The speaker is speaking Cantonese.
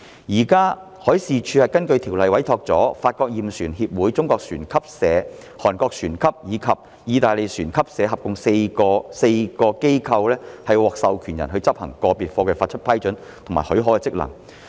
現時海事處根據條例委託了法國驗船協會、中國船級社、韓國船級社及意大利船級社合共4間機構為獲授權人，執行就個別貨櫃發給批准的職能。